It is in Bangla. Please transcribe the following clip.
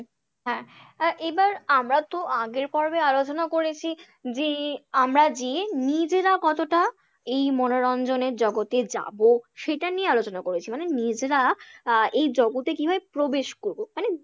হ্যাঁ এবার আমারাতো আগের পর্বে আলোচনা করেছি যে আমরা যে নিজেরা কতটা এই মনোরঞ্জনের জগতে যাবো? সেটা নিয়ে আলোচনা করেছি মানে নিজেরা আহ এই জগতে কিভাবে প্রবেশ করবো মানে